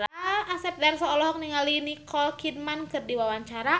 Asep Darso olohok ningali Nicole Kidman keur diwawancara